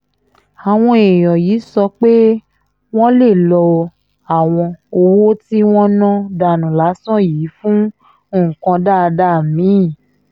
àwọn èèyàn yìí sọ pé wọ́n lè lo àwọn owó tí wọ́n ná dànù lásán yìí fún nǹkan dáadáa mi-ín